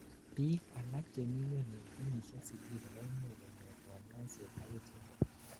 biik alak chemingweny en kenyisiek sitini koimuch konyor kanyoiset akichek